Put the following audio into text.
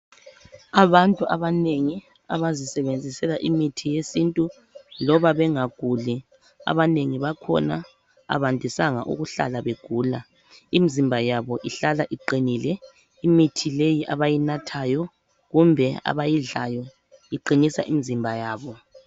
Abantu abanengi abazisebenzisela imithi yesintu loba bengaguli ,abanengi bakhona abandisanga ukuhlala begula. Imizimba yabo ihlala iqinile , imithi abayidlayo imizimba yabo.